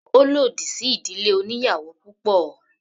Ó lòdì sí ìdílé oníyàwò púpọ̀.